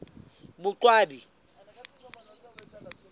boqwabi